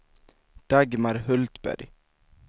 Dagmar Hultberg